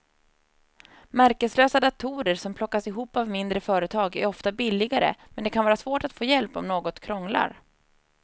Märkeslösa datorer som plockas ihop av mindre företag är ofta billigare men det kan vara svårt att få hjälp om något krånglar.